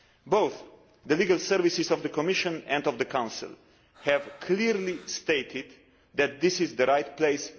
Both the legal services of the Commission and of the Council have clearly stated that this is the right place.